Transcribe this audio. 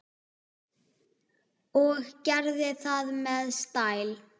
Og gerði það með stæl.